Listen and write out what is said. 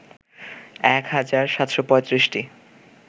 ১ হাজার ৭৩৫টি